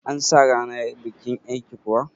An sa ranar bikin yar'ki kuwa?